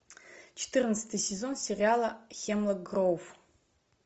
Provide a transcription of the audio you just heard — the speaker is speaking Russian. четырнадцатый сезон сериала хемлок гроув